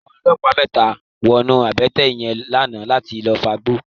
Awòn òlòpá mètá wònú àbètè yèn làná làtí lòfágbó